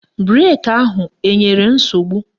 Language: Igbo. Breki ahụ enwere nsogbu?